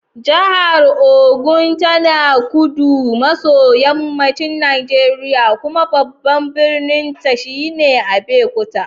Jihar Ogun tana kudu maso yammacin Najeriya, kuma babban birninta shine Abeokuta.